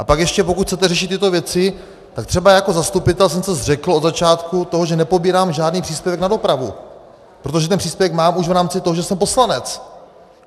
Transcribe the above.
A pak ještě pokud chcete řešit tyto věci, tak třeba jako zastupitel jsem se zřekl od začátku toho, že nepobírám žádný příspěvek na dopravu, protože ten příspěvek mám už v rámci toho, že jsem poslanec.